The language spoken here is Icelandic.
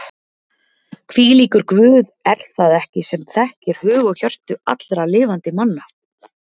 Hvílíkur Guð er það ekki sem þekkir hug og hjörtu allra lifandi manna?